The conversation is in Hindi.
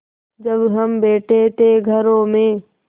जब हम बैठे थे घरों में